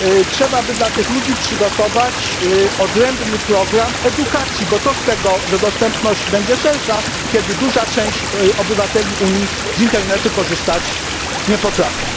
Trzeba by dla tych ludzi przygotować odrębny program edukacji, bo co z tego, że dostępność będzie szersza, kiedy duża część obywateli Unii z internetu korzystać nie potrafi.